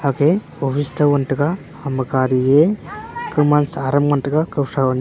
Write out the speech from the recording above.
hey office chuk wan taiga ha ma gari ya kun ma saram ngan taiga ku son.